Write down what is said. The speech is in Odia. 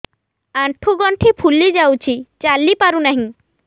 ଆଂଠୁ ଗଂଠି ଫୁଲି ଯାଉଛି ଚାଲି ପାରୁ ନାହିଁ